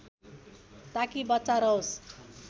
ताकि बच्चा रहोस्